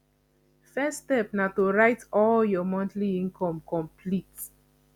first step na to write all your monthly income complete